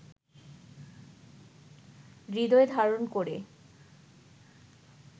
হৃদয়ে ধারণ করে